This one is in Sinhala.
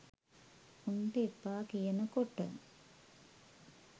උන්ට එපා කියන කොට